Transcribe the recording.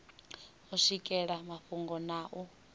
u swikelela mafhungo na u